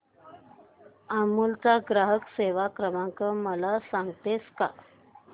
अमूल चा ग्राहक सेवा क्रमांक मला सांगतेस का